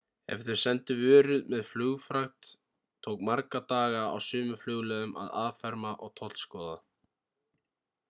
ef þau sendu vörur með flugfrakt tók marga daga á sumum flugleiðum að afferma og tollskoða